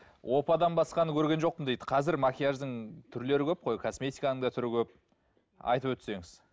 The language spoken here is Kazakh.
опадан басқаны көрген жоқпын дейді қазір макияждың түрлері көп қой косметиканың да түрі көп айтып өтсеңіз